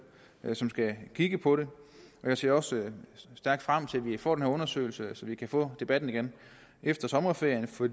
som skal kigge på det jeg ser også stærkt frem til at vi får den her undersøgelse så vi kan få debatten igen efter sommerferien for